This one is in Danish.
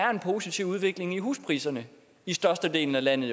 er en positiv udvikling i huspriserne i størstedelen af landet